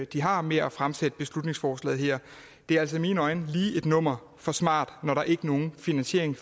de har med at fremsætte beslutningsforslaget her det er altså i mine øjne lige et nummer for smart når der ikke følger nogen finansiering